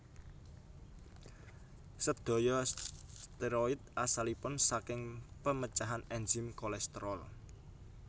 Sédaya steroid asalipun saking pemecahan ènzim kolesterol